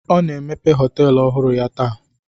Ọ na-emepe họtelu ọhụrụ ya taa.